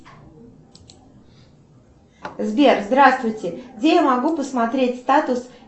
сбер здравствуйте где я могу посмотреть статус